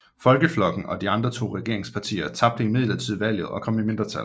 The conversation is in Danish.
Folkeflokken og de andre to regeringspartier tabte imidlertid valget kom i mindretal